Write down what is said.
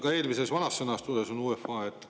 Ka eelmises, vanas sõnastuses on UEFA.